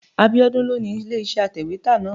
Abíọ́dún ló ni ilé-iṣẹ́ atẹ̀wétà náà.